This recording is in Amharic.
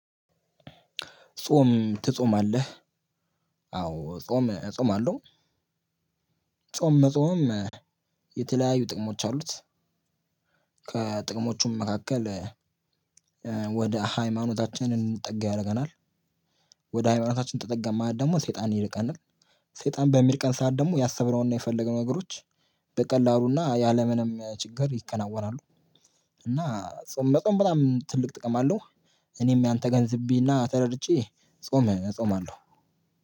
ጾም ትጾማለህ አዎ ጾም እጾማለሁ። ጾም መጾም የተለያዩ ጥቅሞች አሉት። ከጥቅሞቹም መካከል ወደ ሃይማኖታችን እንድንጠጋ ያደርገናል። ወደ ሃይማኖታችን ተጠጋን ማለት ደግሞ ሰይጣን ይርቀናል። ሰይጣን በሚል ቀን ሰዓት ደግሞ ያሰብነውንና የፈለገውን ነገሮች በቀላሉና ያለምንም ችግር ይከናወናሉ። እና ጾም መጾም በጣም ትልቅ ጥቅም አለው። እኔም ያንን ተገንዝቤ እና ተረድቼ ጾም እጾማለሁ።